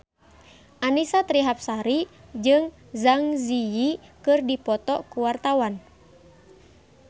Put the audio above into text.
Annisa Trihapsari jeung Zang Zi Yi keur dipoto ku wartawan